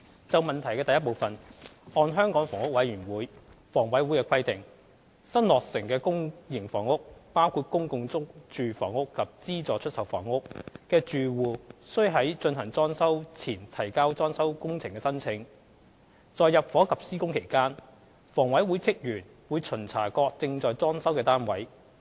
就質詢第一部分，按香港房屋委員會的規定，新落成公營房屋的住戶須在進行裝修前提交裝修工程的申請。在入伙及施工期間，房委會職員會巡查各正在裝修的單位。